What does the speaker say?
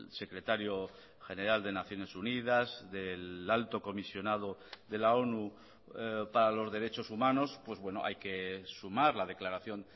secretario general de naciones unidas del alto comisionado de la onu para los derechos humanos pues bueno hay que sumar la declaración